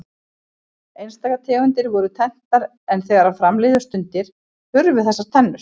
Einstaka tegundir voru tenntar en þegar fram liðu stundir hurfu þessar tennur.